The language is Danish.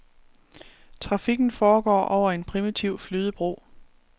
Trafikken foregår over en primitiv flydebro.